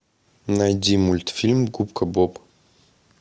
найди мультфильм губка боб